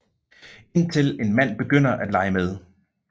Indtil en mand begynder at lege med